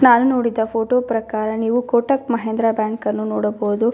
ನಾನು ನೋಡಿದ ಫೋಟೋ ಪ್ರಕಾರ ನೀವು ಕೋಟಕ್ ಮಹೇಂದ್ರ ಬ್ಯಾಂಕನ್ನು ನೋಡಬಹುದು.